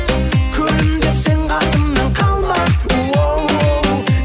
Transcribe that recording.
күлімдеп сен қасымнан қалма оу оу